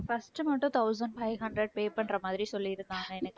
first மட்டும் thousand five hundred pay பண்ணற மாதிரி சொல்லிருக்காங்க எனக்கு